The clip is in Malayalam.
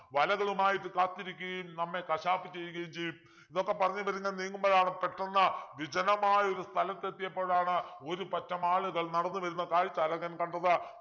വലകളുമായിട്ട് കാത്തിരിക്കുകയും നമ്മെ കശാപ്പു ചെയ്യുകയും ചെയ്യും ഇതൊക്കെ പറഞ്ഞു ഇവരിങ്ങനെ നീങ്ങുമ്പോളാണ് പെട്ടന്ന് വിജനമായൊരു സ്ഥലത്തെത്തിയപ്പോഴാണ് ഒരു പറ്റം ആളുകൾ നടന്നു വരുന്ന കാഴ്ച അഴകൻ കണ്ടത്